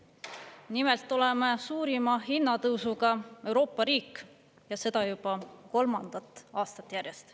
Nimelt, oleme suurima hinnatõusuga Euroopa riik ja seda juba kolmandat aastat järjest.